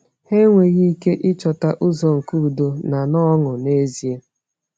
Ha enweghị ike ịchọta ụzọ nke udo na na ọṅụ n’ezie.